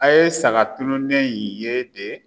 A ye saga tununlen in ye de?